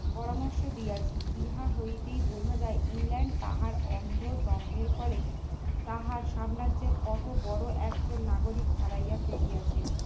পরামর্শ দিয়েছি ইহা হইতে বোঝা যায় ইংল্যান্ড তাহার অন্ধ দ্বন্দ্বের ফলে তাহার সাম্রাজ্যে কত বড় একজন নাগরিক হারাইয়া ফেলিয়াছে